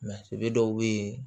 dɔw bɛ yen